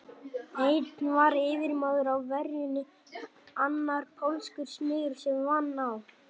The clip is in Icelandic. Einn var yfirmaður á ferjunni, annar pólskur smiður sem vann á